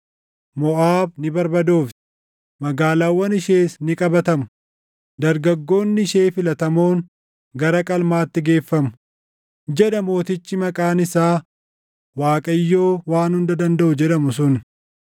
Moʼaab ni barbadoofti; magaalaawwan ishees ni qabatamu; dargaggoonni ishee filatamoon gara qalmaatti geeffamu” jedha Mootichi maqaan isaa Waaqayyoo Waan Hunda Dandaʼu jedhamu sun.